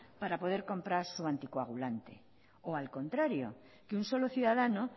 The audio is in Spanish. para poder comprar su anticoagulante o al contrario que un solo ciudadano